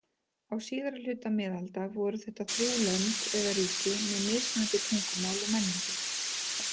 Á síðari hluta miðalda voru þetta þrjú lönd eða ríki með mismunandi tungumál og menningu.